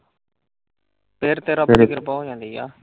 ਫਿਰ ਤੇਰਾ ਫਿਕਰ ਬਹੁਤ ਹੁੰਦੀ ਆ।